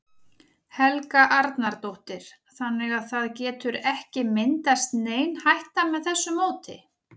Helga Arnardóttir: Þannig að það getur ekki myndast nein hætta með þessu móti?